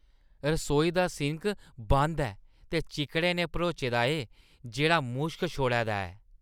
रसोई दा सिंक बंद ऐ ते चिक्कड़ै नै भरोचे दा ऐ जेह्‌ड़ा मुश्क छोड़ै दा ऐ।